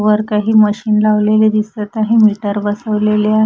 वर काही मशीन लावलेले दिसत आहे मीटर बसवलेले आहे.